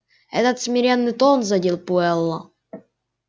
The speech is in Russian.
этот смиренный тон задел пауэлла